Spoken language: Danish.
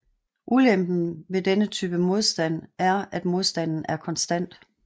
Ulempen ved denne type modstand er at modstanden er konstant